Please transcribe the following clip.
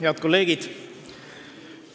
Head kolleegid!